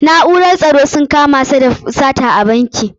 Na'urar tsaro sun kama shi da sata a banki.